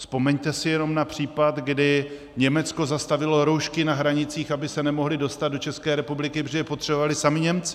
Vzpomeňte si jenom na případ, kdy Německo zastavilo roušky na hranicích, aby se nemohly dostat do České republiky, protože je potřebovali sami Němci.